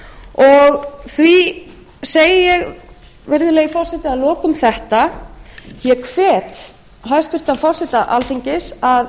og því segi ég virðulegi forseti að lokum þetta ég hvet hæstvirtan forseta alþingis að